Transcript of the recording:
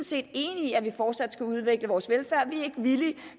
set enige i at vi fortsat skal udvikle vores velfærd vi er ikke villige